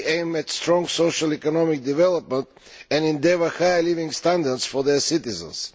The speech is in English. They aim at strong socio economic development and endeavour to have higher living standards for their citizens.